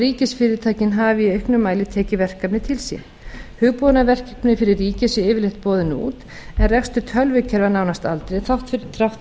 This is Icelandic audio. ríkisfyrirtækin hafi í auknum mæli tekið verkefni til sín hugbúnaðarverkefni fyrir ríkið séu yfirleitt boðin út en rekstur tölvukerfa nánast aldrei þrátt